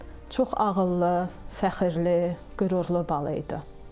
Çox ağıllı, fəxrli, qürurlu balaydı.